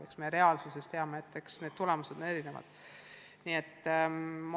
Eks me tõesti teame, et tulemused on erinevad.